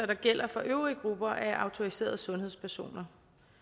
der gælder for de øvrige grupper af autoriserede sundhedspersoner